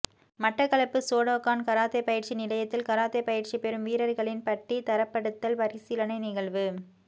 Batticaloa Shotokan karate பயிற்சி நிலையத்தில் karate பயிற்சி பெறும் வீரர்களின் பட்டி தரப்படுத்தல் பரிசீலனை நிகழ்வு